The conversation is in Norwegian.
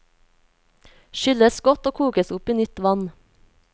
Skylles godt og kokes opp i nytt vann.